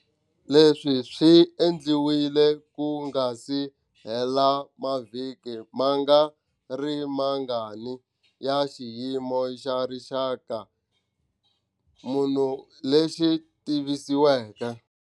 Leswi swi endliwile ku nga si hela mavhiki mangarimangani ya Xiyimo xa Rixaka xa munhu lexi tivisiweke.